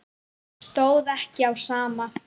Stóð ekki á sama.